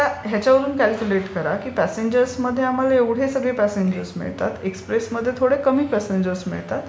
So हयाच्यावरून calculate करा की प्यासेंजर ट्रेनमध्ये आम्हाला एवढे सगळे प्यासेंजर्स मिळतात, एक्सप्रेसमध्ये थोडे कमी प्यासेंजर्स मिळतात.